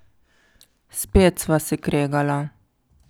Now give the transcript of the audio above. Spet sva se kregala.